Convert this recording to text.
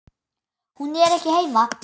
Hún er ekki heima.